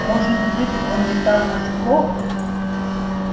может быть он не так уж плох